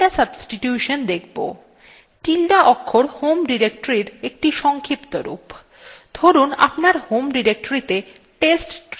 এখন আমরা tilde substitution দেখব tilde ~ অক্ষর home ডিরেক্টরীর একটি সংক্ষিপ্ত রূপ